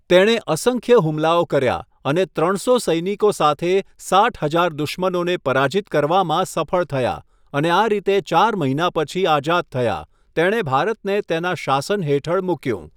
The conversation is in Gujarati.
તેણે અસંખ્ય હુમલાઓ કર્યા, અને ત્રણસો સૈનિકો સાથે સાઈઠ હજાર દુશ્મનોને પરાજિત કરવામાં સફળ થયા, અને આ રીતે ચાર મહિના પછી આઝાદ થયા, તેણે ભારતને તેના શાસન હેઠળ મૂક્યું.